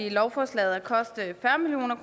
lovforslaget